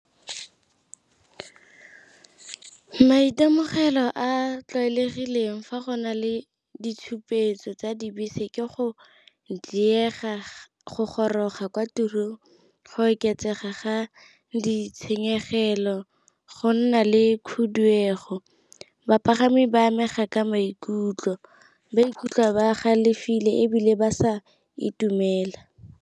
Maitemogelo a a tlwaelegileng fa go na le ditshupetso tsa dibese ke go diega go goroga kwa tirong, go oketsega ga ditshenyegelo, go nna le khuduego, bapagami ba amega ka maikutlo ba ikutlwa ba galefile ebile ba sa itumela.